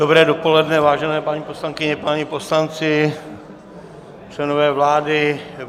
Dobré dopoledne, vážené paní poslankyně, páni poslanci, členové vlády.